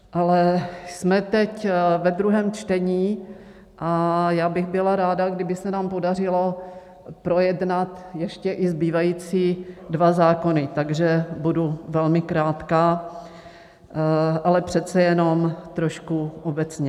Ale jsme teď ve druhém čtení a já bych byla ráda, kdyby se nám podařilo projednat ještě i zbývající dva zákony, takže budu velmi krátká, ale přece jenom trošku obecně.